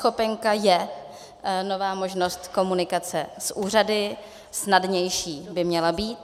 eNeschopenka je nová možnost komunikace s úřady, snadnější by měla být.